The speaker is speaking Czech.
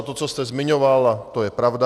A to, co jste zmiňoval, to je pravda.